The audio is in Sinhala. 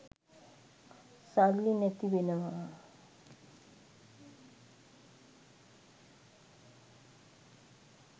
සල්ලි නැති වෙනවා